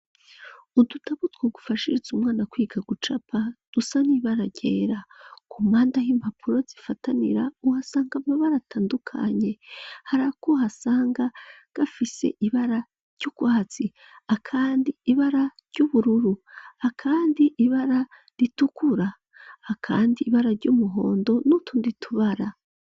Udutabu two gufashiriza umwana kwiga gucapa dusa n'ibara ryera, ku mpande aho impapuro zifatanira uhasanga amabara atandukanye, harako uhasanga gafise ibara ry'urwatsi, akandi ibara ry'ubururu, akandi ibara ritukura, akandi ibara ry'umuhondo, n'utundi tubara.